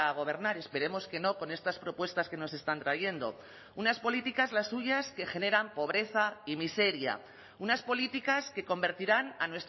gobernar esperemos que no con estas propuestas que nos están trayendo unas políticas las suyas que generan pobreza y miseria unas políticas que convertirán a